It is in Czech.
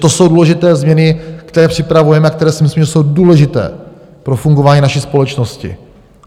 To jsou důležité změny, které připravujeme a které si myslím, že jsou důležité pro fungování naší společnosti.